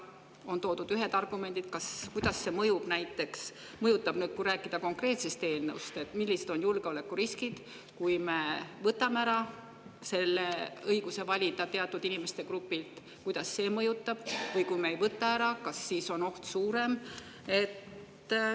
On toodud ühed argumendid, kas ja kuidas see mõjutab, kui rääkida konkreetsest eelnõust, millised on julgeolekuriskid, kui me võtame selle õiguse valida teatud inimeste grupilt ära, kuidas see mõjutab, või kas siis on oht suurem, kui me ei võta seda ära.